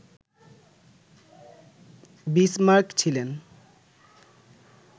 Bismarck ছিলেন